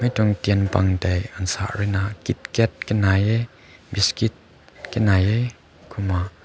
tu tein bam te nasa rui na kitkat kanai hae biscuit kani hae kumma.